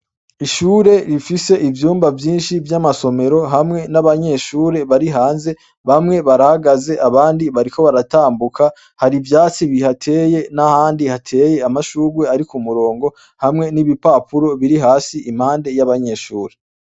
Ishure rifise ivyumba vyinshi vy' amasomero hamwe n' abanyeshure bari hanze bamwe barahagaze abandi bariko baratambuka hari ivyatsi bihateye n' ahandi hateye amashugwe ari kumurongo hamwe n' ibipapuro biri hasi impande y' abanyeshure.